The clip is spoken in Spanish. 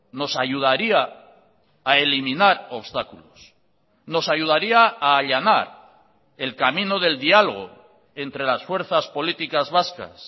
nos ayudaría a eliminar obstáculos nos ayudaría a allanar el camino del dialogo entre las fuerzas políticas vascas